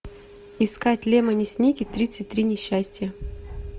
искать лемони сникет тридцать три несчастья